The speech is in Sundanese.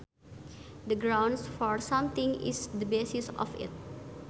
The grounds for something is the basis of it